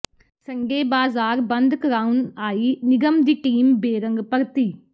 Sunday ਬਾਜ਼ਾਰ ਬੰਦ ਕਰਾਉਣ ਆਈ ਨਿਗਮ ਦੀ ਟੀਮ ਬੇਰੰਗ ਪਰਤੀ